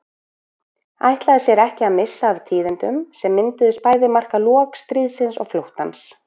Ætlaði sér ekki að missa af tíðindunum sem myndu bæði marka lok stríðsins og flóttans.